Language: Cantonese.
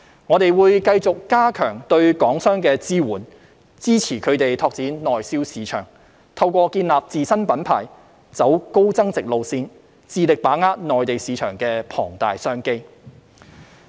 我們會繼續加強對港商的支援，支持他們拓展內銷市場，透過建立自身品牌，走高增值路線，致力把握內地市場的龐大商機。